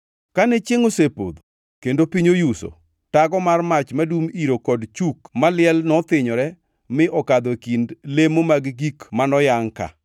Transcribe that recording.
Kane chiengʼ osepodho kendo piny oyuso, tago mar mach madum iro kod chuk mach maliel nothinyore mi okadho e kind lemo mag gik manoyangʼ ka.